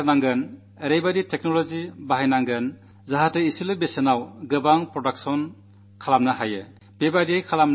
അങ്ങനെയുള്ള ഉപകരണങ്ങൾ വികസിപ്പിക്കുക അതിനുള്ള സാങ്കേതികവിദ്യ വികസിപ്പിക്കുക കുറഞ്ഞ ചിലവിൽ അവ വലിയ അളവിൽ ഉത്പാദിപ്പിക്കുന്നതിനായി പ്രവർത്തിക്കുക